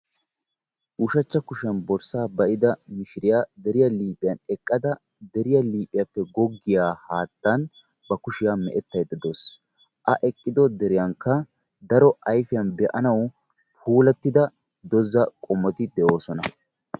ushachcha kushiyan borssa ba'idda mishiriyaa deriyaa liiphiyaan eqqada; deriyaa liiphiyaappe goggiyaa haattan ba kushiyaa mee'etaydda de'aawus; a eqqiddo deriyankka daro be'annaw puulatidda doza qommoti de'oosona.